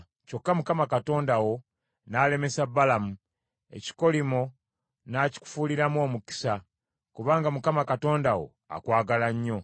Kyokka Mukama Katonda wo n’alemesa Balamu; ekikolimo n’akikufuuliramu omukisa, kubanga Mukama Katonda wo akwagala nnyo.